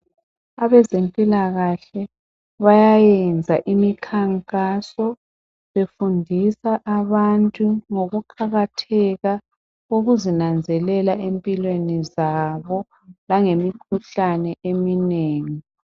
Abezimpilakahle bayayenza imikhankaso befundisa abantu ngokuqakatheka ukuzinanzelela empilweni zabo langemikhuhlane eminengi.